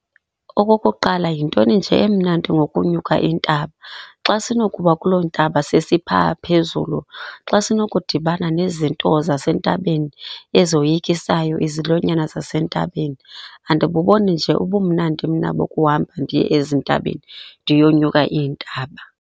Okokuqala, yintoni nje emnandi ngokunyuka intaba? Xa sinokuba kuloo ntaba sesipha phezulu, xa sinokudibana nezinto zasentabeni ezoyikisayo, izilwanyana zasentabeni? Andibuboni nje ubumnandi mna bokuhamba ndiye ezintabeni, ndiyonyuka iintaba.